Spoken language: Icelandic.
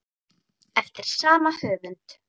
Eftir sama höfund